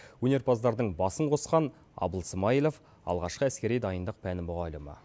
өнерпаздардың басын қосқан абыл смайылов алғашқы әскери дайындық пәні мұғалімі